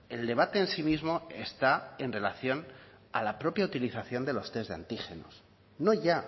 el debate en sí mismo está en relación a la propia utilización de los test de antígenos no ya